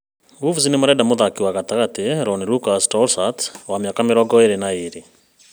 Wolves nĩmarenda mũthakĩri gatagatĩ Lyon Lucas Tousart, wa mĩaka mĩrongo ĩĩrĩ na ĩĩrĩ